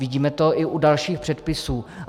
Vidíme to i u dalších předpisů.